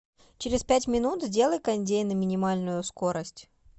через пять минут сделай кондей на минимальную скорость